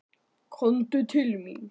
Komdu til mín.